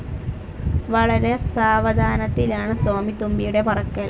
വളരെ സാവധാനത്തിലാണ് സ്വാമിത്തുമ്പിയുടെ പറക്കൽ.